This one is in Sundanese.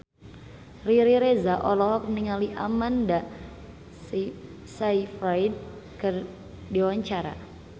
Riri Reza olohok ningali Amanda Sayfried keur diwawancara